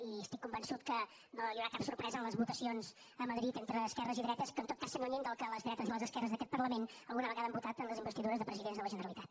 i estic convençut que no hi haurà cap sorpresa en les votacions a madrid entre esquerres i dretes que en tot cas s’allunyin del que les dretes i les esquerres d’aquest parlament alguna vegada han votat en les investidures de presidents de la generalitat